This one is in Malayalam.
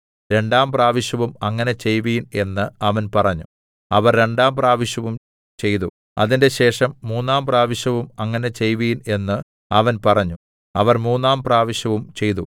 രണ്ടാം പ്രാവശ്യവും അങ്ങനെ ചെയ്‌വിൻ എന്ന് അവൻ പറഞ്ഞു അവർ രണ്ടാം പ്രാവശ്യവും ചെയ്തു അതിന്‍റെശേഷം മൂന്നാം പ്രാവശ്യവും അങ്ങനെ ചെയ്‌വിൻ എന്ന് അവൻ പറഞ്ഞു അവർ മൂന്നാം പ്രാവശ്യവും ചെയ്തു